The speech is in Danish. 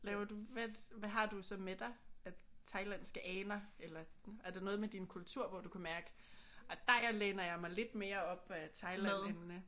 Laver du hvad hvad har du så med dig af Thailandske aner? Eller er der noget med din kultur hvor du kan mærke ej der jeg læner jeg mig lidt mere op ad Thailand end øh?